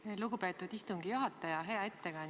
Aitäh, lugupeetud istungi juhataja!